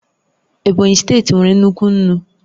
Ebonyi steeti nwere nnukwu nnu